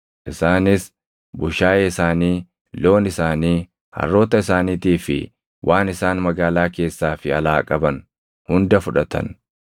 Isaanis bushaayee isaanii, loon isaanii, harroota isaaniitii fi waan isaan magaalaa keessaa fi alaa qaban hunda fudhatan.